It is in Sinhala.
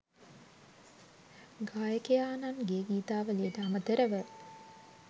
ගායකයාණන්ගේ ගීතාවලියට අමතරව